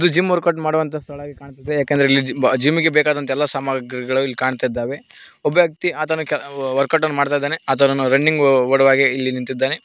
ಇದು gym workout ಮಾಡುವಂತ ಸ್ಥಳವಾಗಿ ಕಾಣುತ್ತಿದೆ ಯಾಕೆಂದರೆ ಇಲ್ಲಿ ಜಿಮ್ ಜಿಮ್ಮಿಗೆ ಬೇಕಾದಂತ ಎಲ್ಲಾ ಸಾಮಾಗ್ರಿಗಳು ಇಲ್ಲಿ ಕಾಣ್ತಾ ಇದ್ದಾವೆ ಒಬ್ಬ ವ್ಯಕ್ತಿ ಆತನ ಕೆಲ ವರ್ಕೌಟ್ ಅನ್ನು ಮಾಡ್ತಾ ಇದ್ದಾನೆ ಆತನು ರನ್ನಿಂಗು ಓಡುವ ಹಾಗೆ ಇಲ್ಲಿ ನಿಂತಿದ್ದಾನೆ.